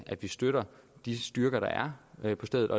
at vi støtter de styrker der er på stedet